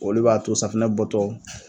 Olu b'a to safinɛ bɔ tɔ